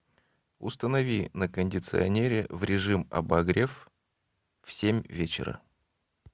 установи на кондиционере в режим обогрев в семь вечера